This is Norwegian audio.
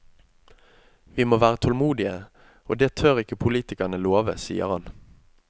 Vi må være tålmodige, og det tør ikke politikerne love, sier han.